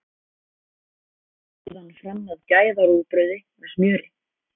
Berðu síðan fram með gæða-rúgbrauði með smjöri.